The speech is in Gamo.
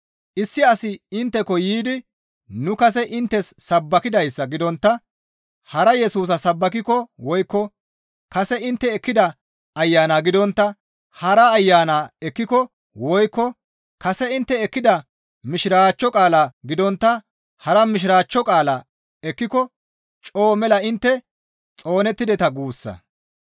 Issi asi intteko yiidi nu kase inttes sabbakidayssa gidontta hara Yesusa sabbakikko woykko kase intte ekkida Ayanaa gidontta hara ayana ekkiko woykko kase intte ekkida Mishiraachcho qaalaa gidontta hara Mishiraachcho qaalaa ekkiko coo mela intte xoonettideta guussa.